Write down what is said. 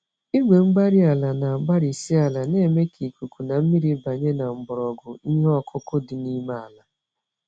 Igwe-mgbárí-ala, na agbarisi ala, na-eme ka ikuku na mmiri banye na mgbọrọgwụ ihe ọkụkụ dị n'ime àlà.